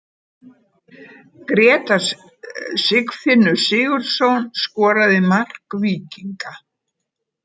Grétar Sigfinnur Sigurðsson skoraði mark Víkinga.